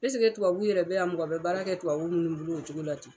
ɛseke tubabu yɛrɛ bɛ yan mɔgɔ bɛ baara kɛ tubabu minnu bolo o cogo la ten?